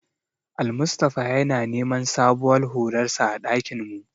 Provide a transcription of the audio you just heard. Almustapha yana neman sabuwar hularsa a ɗakin mu.